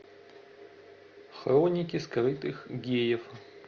хроники скрытых геев